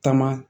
Taama